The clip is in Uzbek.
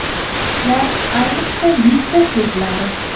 Shishlar ayniqsa yuzda seziladi.